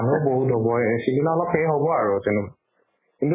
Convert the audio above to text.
মানুহো বহুত হব, সিদিনা অলপ সেই হব আৰু কিন্তু মা